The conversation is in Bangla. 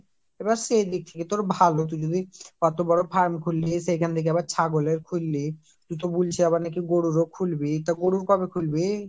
আবার সেই দিক থেকে ভালো তুই যদি এত বড় farm খুলি, সেখানে লাইগা আবার ছাগলের খুললি, তুই তো বলছিস আবার নাকি গরুর ও খুলবি তো গরুর কবে খুলবি ?